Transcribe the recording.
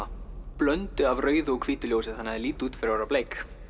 blöndu af rauðu og hvítu ljósi þannig að þau líta út fyrir að vera bleik